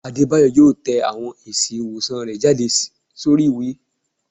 Adebayo yọọ tẹ awọn èsí iwosán rẹ jade sorí iwe